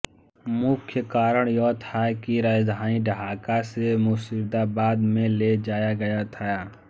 मुख्य कारण यह था कि राजधानी ढाका से मुर्शिदाबाद में ले जाया गया था